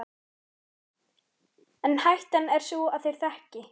En hættan er sú að þeir þekki